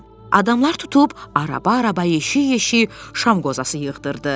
Adamlar tutub araba-araba, yeşik-yeşik şam qozası yığdırdı.